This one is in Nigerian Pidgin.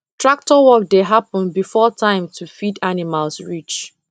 tractor work dey happen before time to feed animals reach